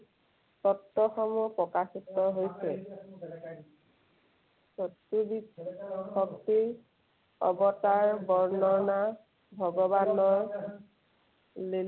তত্ত্বসমূহ প্ৰকাশিত হৈছে। শক্তি, অৱতাৰ বৰ্ণনা, ভগৱানৰ